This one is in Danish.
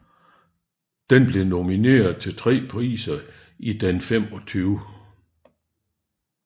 Den blev nomineret til tre priser i Den 25